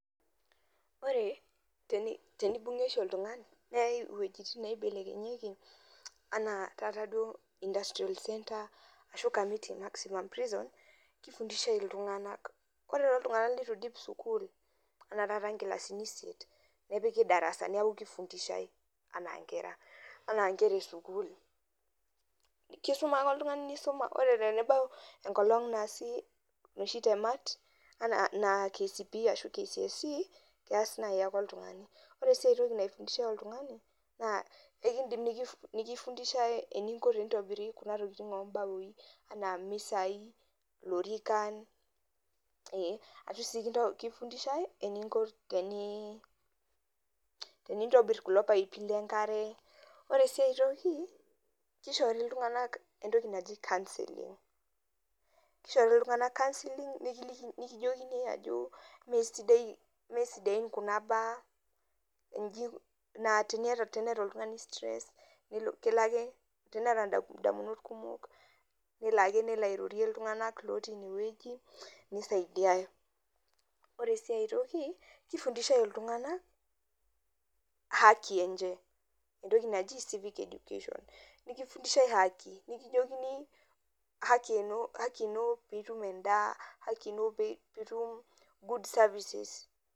Ore tenebung'i oshi oltung'ani neyai iweujitin neibelekenyieki enaa taata duo industrial centre ashu Kamiti Maximum Prison kifundishiai illtung'anak ore toltung'anak litu iidip sukuul enaa taata inkilasini isiet nepiki darasa neeku kifundishai enaa nkerra esukuul kisuma ke oltung'ani nisuma ore pee ebau enkolong' naasi inoshi temat enaa KCPE ashu KCSE kees naai ake oltung'ani ore sii ai toki naifundishai oltung'ani naa ekiidim nekifundishai enikoni tenitobiri kuna tokitin ombaoi enaa imisai ilorikan ashu sii kufundisahi eninko tenintobirr kulo paipi le enkare ore sii ai toki kishori iltung'anak entoki naki councelling kishori iltung'anak councelling nekijokini ajo mee sidaain kuna baa naa teneeta oltung'ani stress kelo ake teneeta indamunot kumok nelo ake nelo airorie iltung'anak lootii ine wueji nisaidiai, ore sii ai toki kifundishiai iltung'anak haki enye entoki naji civic education nikifundishai haki nekijokini haki ino piitum endaa haki ino piitum good services.